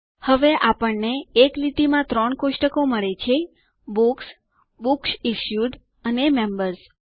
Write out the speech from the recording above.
હવે આપણે એક લીટી માં ત્રણ કોષ્ટકો મળે છે બુક્સ બુક્સ ઇશ્યુડ અને મેમ્બર્સ